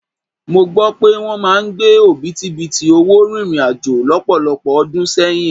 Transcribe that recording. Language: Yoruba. Mó gbọ́ pé wọ́n máa ń gbé òbítíbitì owó rìnrìn àjò lọ́pọ̀lọpọ̀ ọdún sẹ́yìn.